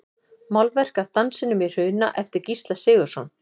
Málverk af Dansinum í Hruna eftir Gísla Sigurðsson.